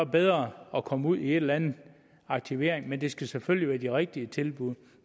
bedre at komme ud i en eller anden aktivering men det skal selvfølgelig være de rigtige tilbud